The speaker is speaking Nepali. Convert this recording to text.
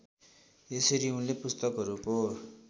त्यसरी उनले पुस्तकहरूको